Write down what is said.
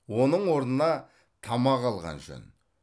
оның орнына тамақ алған жөн